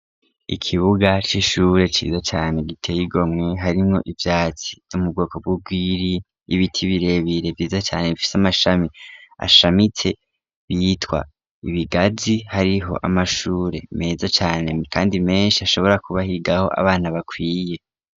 Ikibuga c'ishure ciza cane giteye igomwe harimwo ivyatsi vyo mu bwoko bw'ugwiri, ibiti birebire vyiza cane bifise amashami ashamitse bitwa ibigazi, hariho amashure meza cane kandi menshi hashobora kuba higaho abana bakwiye.